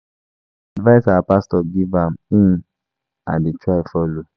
Na the advice our pastor give na im I dey try follow